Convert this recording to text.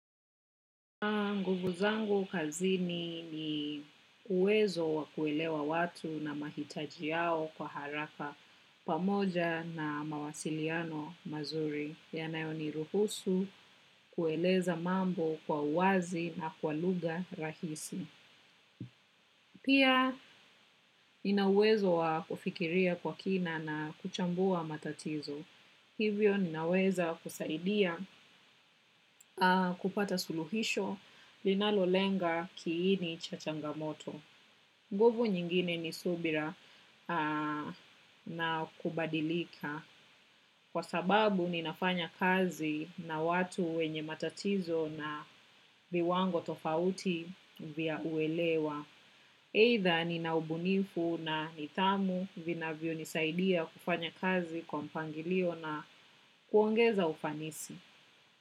Nguvu zangu kazini ni uwezo wa kuelewa watu na mahitaji yao kwa haraka pamoja na mawasiliano mazuri. Yanayo ni ruhusu kueleza mambo kwa uwazi na kwa lugha rahisi. Pia nina uwezo wa kufikiria kwa kina na kuchambua matatizo. Hivyo ninaweza kusaidia kupata suluhisho linalo lenga kiini cha changamoto. Nguvu nyingine ni subira na kubadilika. Kwa sababu ninafanya kazi na watu wenye matatizo na viwango tofauti vya kuelewa. Either nina ubunifu na nidhamu vinavyonisaidia kufanya kazi kwa mpangilio na kuongeza ufanisi.